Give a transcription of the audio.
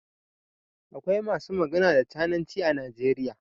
Akwai masu magana da cananci a Najeriya.